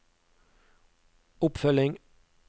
oppfølging